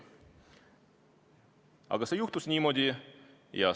Aga niimoodi see juhtus.